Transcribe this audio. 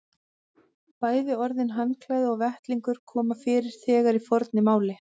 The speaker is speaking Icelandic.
Bæði orðin handklæði og vettlingur koma fyrir þegar í fornu máli.